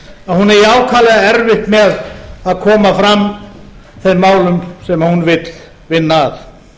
að hún eigi ákaflega erfitt með að koma fram þeim málum sem hún vill vinna að